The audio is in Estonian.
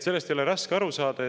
Sellest ei ole raske aru saada.